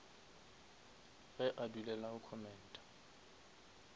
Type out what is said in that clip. ge a dulela go commenta